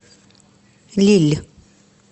лилль